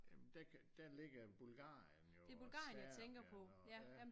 Men der ligger Bulgarien jo og Serbien og ja